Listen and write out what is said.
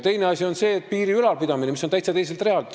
Teine asi on see, et piiri ülalpidamine käib täitsa teiselt realt.